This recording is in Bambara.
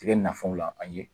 Tigɛ nafolo la la an ye!